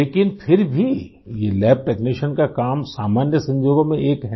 लेकिन फिर भी ये लैब टेक्नीशियन का काम सामन्य संजोगों में एक है